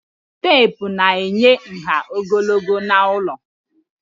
Teepụ na-enye nha ogologo na elu